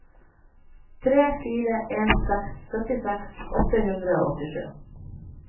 tre fire en seks syttiseks åtte hundre og åttisju